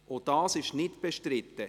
– Auch dies ist nicht bestritten.